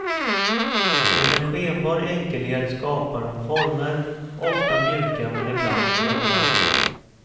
Med en skenbar enkelhet skapar hon former, ofta mjuka men ibland hårda.